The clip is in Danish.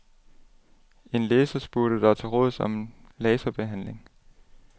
En læser spurgte dig til råds om laserbehandling.